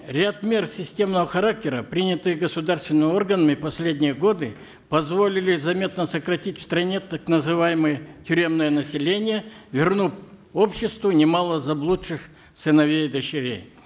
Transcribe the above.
ряд мер системного характера принятые государственными органами в последние годы позволили заметно сократить в стране так называеое тюремное население вернув обществу немало заблудших сыновей и дочерей